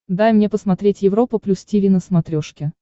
дай мне посмотреть европа плюс тиви на смотрешке